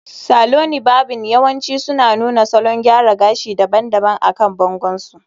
Saloni varbing yawanci suna nuna salon gyara gashi daban-daban akan bangon su